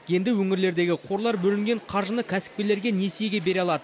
енді өңірлердегі қорлар бөлінген қаржыны кәсіпкерлерге несиеге бере алады